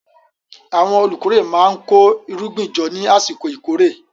Àwọn olùkórè máa ń kó irúgbìn jọ ní àsìkò ìkórè.